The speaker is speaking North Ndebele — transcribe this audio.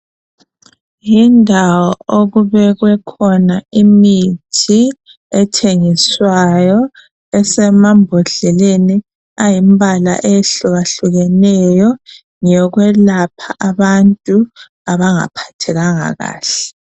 Yindawo okubekwe khona imithi, ethengiswayo esemambodleleni ayimbala eyehlukahlukeneyo ngeyokwelapha abantu abangaphathekanga kahle.